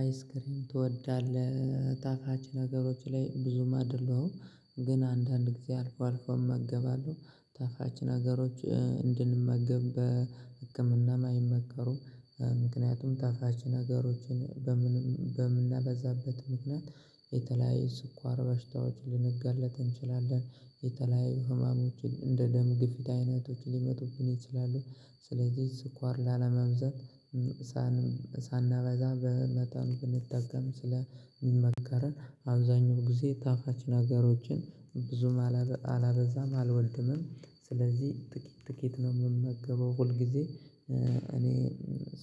አይስክሪም ትወዳለህ ጣፋች ነገሮች ላይ ብዙም አይደለሁም ግን አንዳንድ ጊዜ አልፎ አልፎ እመገባለሁ ጣፋች ነገሮች እንድንመገብ በህክምናም አይመከሩም። ምክንያቱም ጣፋች ነገሮችን በምንመ በምናበዛበት ምክንያት የተለያየ ስኳር በሽታዎችን ልንጋለጥ እንችላለን። የተለያዩ ህማሞችን እንደ ደም ግፊት አይነቶች ሊመጡብን ይችላሉ። ስለዚህ ስኳር ላለመብዛት ሳናበዛ በመጠን ብንጠቀም ስለሚመከረን አብዛኛው ጊዜ ጣፋች ነገሮችን ብዙም አላበዛም አልወልድምም ስለዚህ ጥቂት ጥቂት ነው የምመገበው። ሁል ጊዜ እኔ